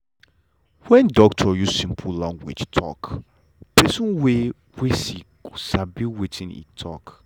wen doctor use simple language talk pesin wey wey sick go sabi wetin e tok.